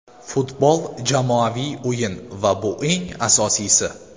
Futbol jamoaviy o‘yin va bu eng asosiysi.